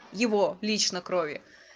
его лично крови